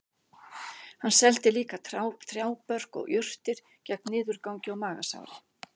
Hann seldi líka trjábörk og jurtir gegn niðurgangi og magasári